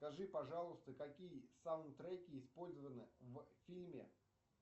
скажи пожалуйста какие саундтреки использованы в фильме